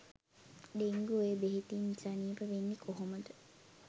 dengue ඔය බෙහෙතින් සනීප වෙන්නෙ කොහොමද